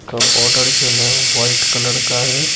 का बॉर्डर जो है वाइट कलर का है।